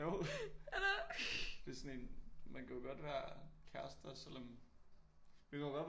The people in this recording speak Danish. Jo det er sådan en man kan jo godt være kærester selvom vi kan jo godt være